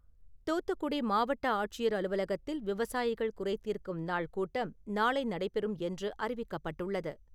துாத்துக்குடி மாவட்ட ஆட்சியர் அலுவலகத்தில் விவசாயிகள் குறைதீர்க்கும் நாள் கூட்டம் நாளை நடைபெறும் என்று அறிவிக்கப்பட்டுள்ளது.